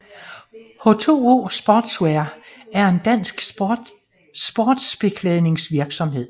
H2O Sportswear er en dansk sportsbeklædningsvirksomhed